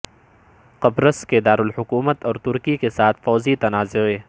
قبرص کے دارالحکومت اور ترکی کے ساتھ فوجی تنازعے